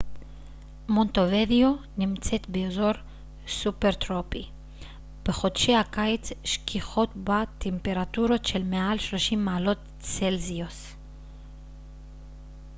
מונטווידאו נמצאת באזור סובטרופי בחודשי הקיץ שכיחות בה טמפרטורות של מעל 30 מעלות צלזיוס